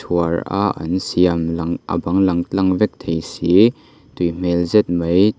chhuar a an siam lang a bang tlang vek thei si tui hmel zet mai--